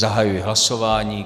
Zahajuji hlasování.